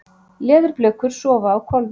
Leðurblökur sofa á hvolfi.